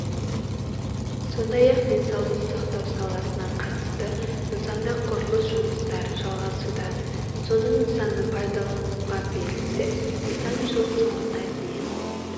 сондай-ақ денсаулық сақтау саласына қатысты нысанда құрылыс жұмыстары жалғасуда соның нысаныпайдалануға берілсе нысан жыл соңына дейін